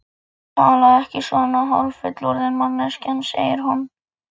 Talaðu ekki svona, hálffullorðin manneskjan, segir hún.